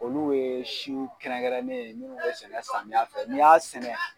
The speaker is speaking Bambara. Olu ye siw kɛrɛnkɛrɛnnen ye minnu bɛ sɛnɛ samiya fɛ ni y'a sɛnɛ.